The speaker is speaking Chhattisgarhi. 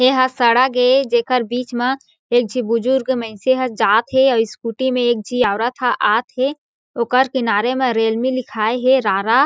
एहा सड़क ए जेकर बीच मा एक झी बुजुर्ग मइनसे ह जात हें आऊ स्कूटी म एक झी औरत ह आत हें ओकर किनारे म रेलमी लिखाए हें रा रा--